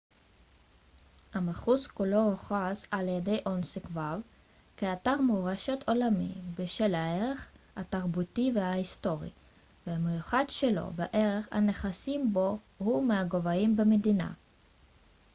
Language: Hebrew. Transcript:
המחוז כולו הוכרז על-ידי אונסק ו כאתר מורשת עולמי בשל הערך התרבותי וההיסטורי המיוחד שלו וערך הנכסים בו הוא מהגבוהים במדינה